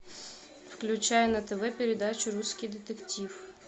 включай на тв передачу русский детектив